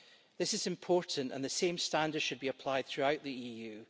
This is important, and the same standards should be applied throughout the EU.